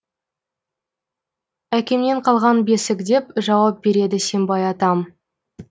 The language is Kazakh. әкемнен қалған бесік деп жауап береді сембай атам